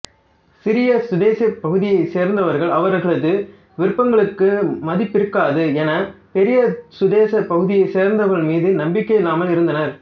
சிறிய சுதேசப் பகுதியைச் சேர்ந்தவர்கள் அவர்களது விருப்பங்களுக்கு மதிப்பிருக்காது என பெரிய சுதேசப் பகுதியைச் சேர்ந்தவர்கள் மீது நம்பிக்கையில்லாமல் இருந்தனர்